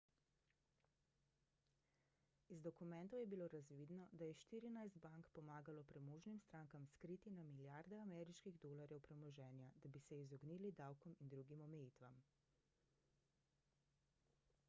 iz dokumentov je bilo razvidno da je štirinajst bank pomagalo premožnim strankam skriti na milijarde ameriških dolarjev premoženja da bi se izognili davkom in drugim omejitvam